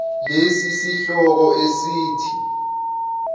lesi sihloko esithi